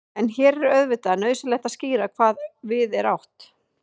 en hér er auðvitað nauðsynlegt að skýra hvað við er átt